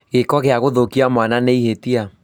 Gĩko gĩa gũthũkia mwana nĩ ihĩtia